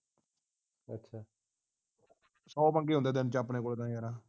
ਸੌਂ ਪੰਗੇ ਹੁੰਦੇ ਦਿਨ ਚ ਆ ਆਪਣੇ ਕੋਲ ਤੇ ਯਾਰਾ